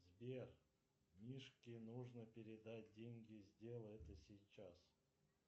сбер мишке нужно передать деньги сделай это сейчас